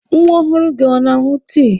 Nwa ọhụrụ gị ọ na-aṅụ tii?